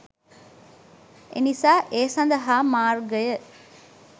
එනිසා ඒ සඳහා මාර්ගය